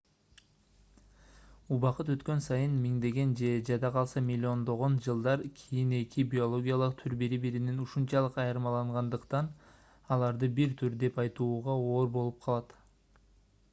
убакыт өткөн сайын миңдеген же жада калса миллиондогон жылдан кийин эки биологиялык түр бири-биринен ушунчалык айырмалангандыктан аларды бир түр деп айтууга оор болуп калат